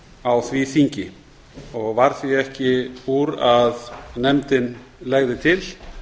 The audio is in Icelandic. á því þingi og varð því ekki úr að nefndin legði til